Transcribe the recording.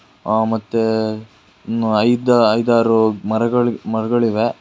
ಅ ಮತ್ತೆ ಐದ್ ಐದಾರು ಮರಗಳ್ ಮರಗಳಿವೆ.